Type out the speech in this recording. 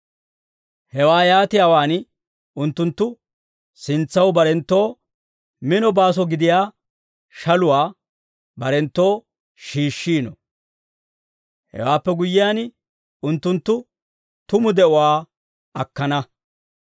Hewaa yaatiyaawaan unttunttu sintsaw barenttoo mino baaso gidiyaa shaluwaa barenttoo shiishshino. Hewaappe guyyiyaan, unttunttu tumu de'uwaa akkana.